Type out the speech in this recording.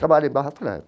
Trabalha em Barra falei é.